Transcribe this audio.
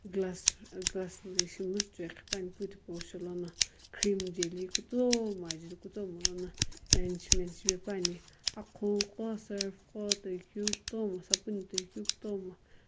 glass na ishi liiziichoi ghipani ipu thipu sholono cream jale kutomo ajaeli kutomo lono arrangement shipane akho qo surf qo toi ku sapoon toi ku kutomo.